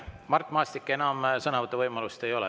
Mart Maastik, teil enam sõnavõtuvõimalust ei ole.